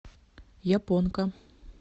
японка